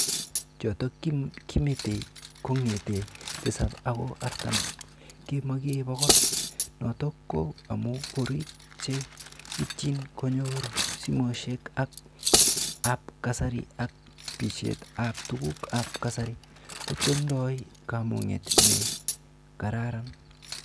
Chutok kimetei kongete 7ako aratam ke makee pokol , nitoko ko amuu korik che itchin konyor simoshek ab kasari ak baishet ab tuku ab kasari kotindoi kamangunet ne ka raran.